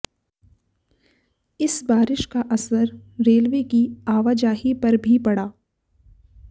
इस बारिश का असर रेलवे की आवाजाही पर भी पड़ा